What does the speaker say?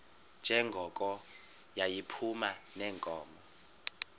njengoko yayiphuma neenkomo